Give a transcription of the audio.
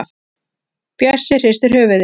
Bjössi hristir höfuðið.